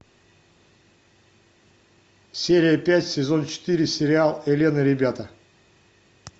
серия пять сезон четыре сериал элен и ребята